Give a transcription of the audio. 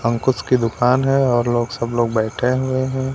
अंकुश की दुकान है और लोग सब लोग बैठे हुए हैं।